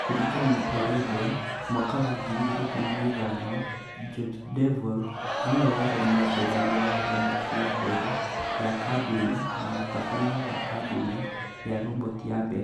Kũringana na O'Regan ((2015), George Devol nĩwe warĩ mũambĩrĩria wa roboti ya mbere ya kambuni na mũtabania wa kambuni ya roboti ya mbere